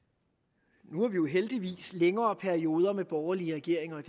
nu har vi jo heldigvis længere perioder med borgerlige regeringer